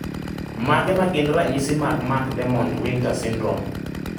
Mage magin ranyisi mag Mac Dermot Winter syndrome